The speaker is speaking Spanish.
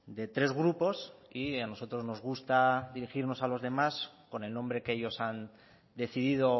de tres grupos y a nosotros nos gusta dirigirnos a los demás con el nombre que ellos han decidido